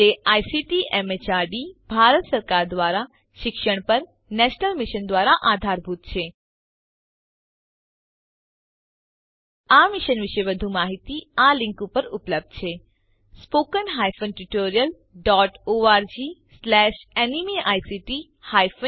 જે ICT MHRD Bharat સરકાર દ્વારા શિક્ષણ પર નેશનલ મિશન દ્વારા આધારભૂત છે આ મિશન વિશે વધુ માહીતી આ લીંક ઉપર ઉપલબ્ધ છે httpspoken tutorialorgNMEICT ઇન્ત્રો આ સાથે આ ટ્યુટોરીયલ સમાપ્ત થાય છે